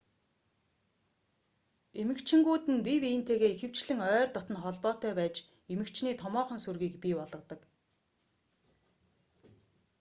эмэгчингүүд нь бие биентэйгээ ихэвчлэн ойр дотно холбоотой байж эмэгчний томоохон сүргийг бий болгодог